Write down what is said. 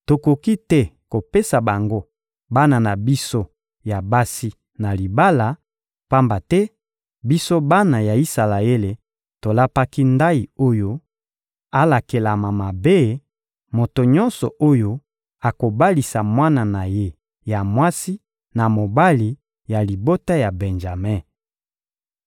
Tokoki te kopesa bango bana na biso ya basi na libala, pamba te, biso bana ya Isalaele, tolapaki ndayi oyo: ‹Alakelama mabe, moto nyonso oyo akobalisa mwana na ye ya mwasi na mobali ya libota ya Benjame.›»